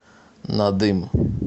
надым